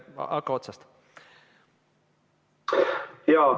Hakka otsast peale.